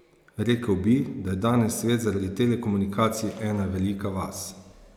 Rekel bi, da je danes svet zaradi telekomunikacij ena velika vas.